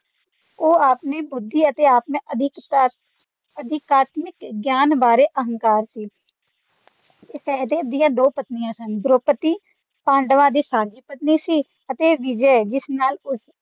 ਉਹ ਆਪਣੀ ਬੁਧਿ ਤੇ ਆਪਣੇ ਅਧਿਆਤਮਕ ਗਿਆਨ ਬਾਰੇ ਹੰਕਾਰ ਸੀ ਸਹਿਦੇਵ ਦੀ ਦੋ ਪਤਨੀਆਂ ਸਨ ਦਰੋਪਦੀ ਪਾਂਡਵਾਂ ਦੀ ਸਾਂਝੀ ਪਤਨੀ ਸੀ ਅਤੇ ਵਿਜਯਾ ਜਿਸ ਨਾਲ ਉਸ